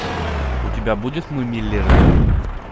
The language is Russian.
у тебя будет мы миллеры